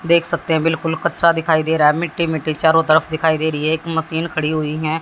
देख सकते हैं बिल्कुल कच्चा दिखाई दे रहा है मिट्टी मिट्टी चारों तरफ दिखाई दे रही है एक मशीन खड़ी हुई है।